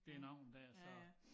Det navn dér så